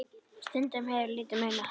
Stundum hefur litlu munað.